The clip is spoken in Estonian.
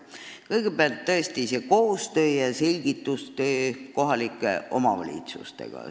Kõigepealt, selgitustöö ja koostöö kohalike omavalitsustega.